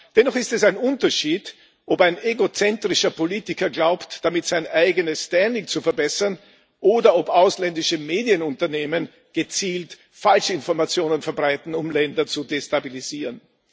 Dennoch ist es ein Unterschied, ob ein egozentrischer Politiker glaubt, damit sein eigenes zu verbessern, oder ob ausländische Medienunternehmen gezielt falsche Informationen verbreiten, um Länder zu destabilisieren.